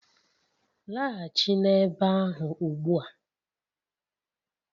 Laghachi n'ebe ahụ ugbu a!